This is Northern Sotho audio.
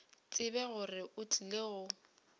tsebe gore o tlile go